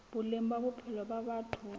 boleng ba bophelo ba batho